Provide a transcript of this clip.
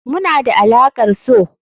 Muna da alaƙar so.